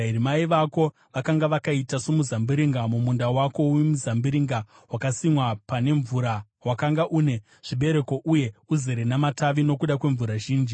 “ ‘Mai vako vakanga vakaita somuzambiringa mumunda wako wemizambiringa, wakasimwa pane mvura; wakanga une zvibereko uye uzere namatavi nokuda kwemvura zhinji.